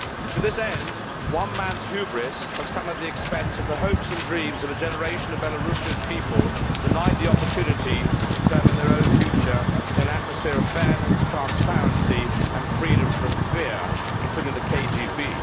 To this end, one man's hubris has come at the expense of the hopes and dreams of a generation of Belarusian people, denied the opportunity to determine their own future in an atmosphere of fairness, transparency and freedom from fear, including fear of the KGB.